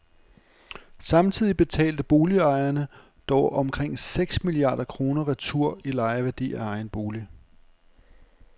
Samtidig betalte boligejerne dog omkring seks milliarder kroner retur i lejeværdi af egen bolig.